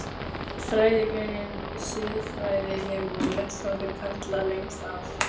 Fræðigreinin siðfræði hefur verið vettvangur karla lengst af.